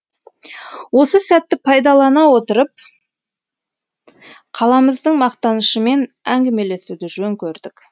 осы сәтті пайдалана отырып қаламыздың мақтанышымен әңгімелесуді жөн көрдік